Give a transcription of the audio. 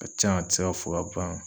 Ka can a ti se ka fɔ ka ban.